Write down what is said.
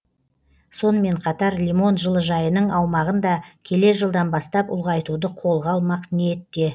сонымен қатар лимон жылыжайының аумағын да келер жылдан бастап ұлғайтуды қолға алмақ ниетте